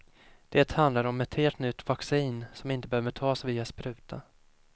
Det handlar om ett helt nytt vaccin som inte behöver tas via spruta.